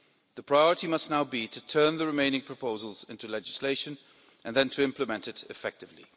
The priority must now be to turn the remaining proposals into legislation and then to implement it effectively.